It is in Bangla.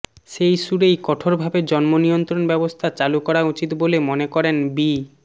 সেই সুরেই কঠোরভাবে জন্ম নিয়ন্ত্রণ ব্যবস্থা চালু করা উচিত বলে মনে করেন বি